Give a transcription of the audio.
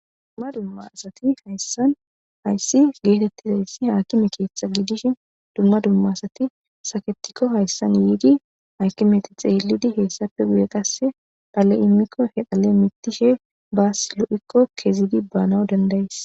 Dumma dumma asati hayssan ayssi geetettizayssi haakime keeththa gidishin dumma dumma asati saketikko hayssan yiidi hakimeti xeelidi heyssappe guye qasse dhale imikko he dhale mitishe baas lu7ikko kezidi banaw dandayes